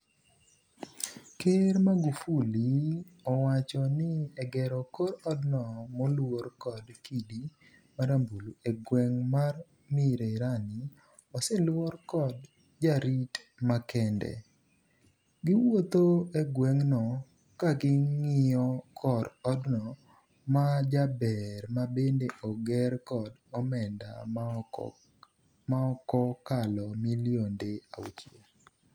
ker Magufuli owacho ni egero kor odno moluor kod kidi marambulu e gweng' mar Mirerani oseluor kod jorit makende ,giwuotho e gweng'no kaging'iyo kor odno majaber mabende ogerkod omenda maokokalo milionde auchiel.